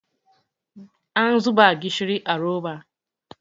an zuba gishiri a roba